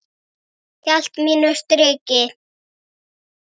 Hélt mínu striki.